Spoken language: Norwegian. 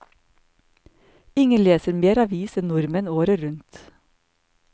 Ingen leser mer avis enn nordmenn, året rundt.